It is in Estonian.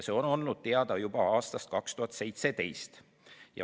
See on olnud teada juba aastast 2017.